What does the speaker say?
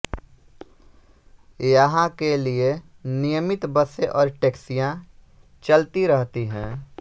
यहां के लिए नियमित बसें और टैक्सियां चलती रहती हैं